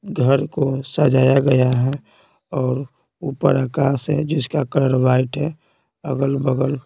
घर को सजाया गया है और ऊपर आकाश है जिसका कलर वाइट है अगल-बगल--